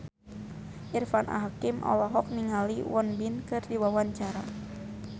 Irfan Hakim olohok ningali Won Bin keur diwawancara